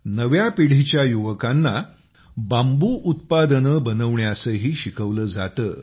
नव्या पिढीच्या युवकांना बांबू उत्पादनं बनवण्यासही शिकवलं जातं